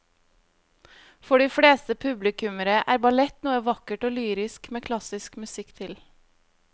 For de fleste publikummere er ballett noe vakkert og lyrisk med klassisk musikk til.